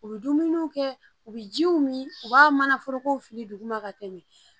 U bɛ dumuniw kɛ u bɛ jiw min u b'a mana foroko fili duguma ka tɛmɛ